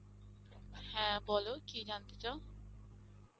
হ্যাঁ বল কি জানতে চাও